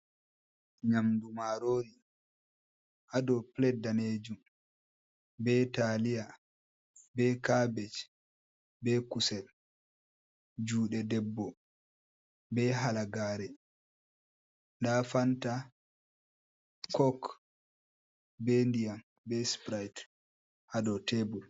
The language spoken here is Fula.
Nyamdu marori haa dow pilat danejum, be taliya, be kabej, be kusel. Juɗe debbo be halagare, nda fanta, kok, be ndiyam, be siprite haa dow tebul.